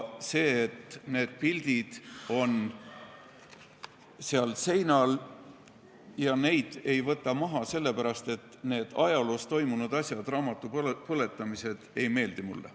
See, et need pildid on seal seinal ja neid ei võeta maha, on nii sellepärast, et need ajaloos toimunud asjad, raamatupõletamised, ei meeldi mulle.